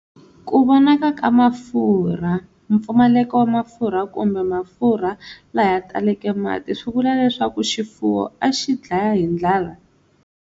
Ku vonaka ka mafurha, mpfumaleko wa mafurha kumbe mafurha laya taleke mati swi vula leswaku xifuwo a xi dlaya hi ndlala